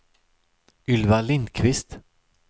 Ylva Lindquist